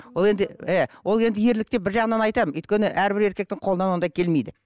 ол енді ы ол енді ерлік деп бір жағынан айтамын өйткені әрбір еркектің қолынан ондай келмейді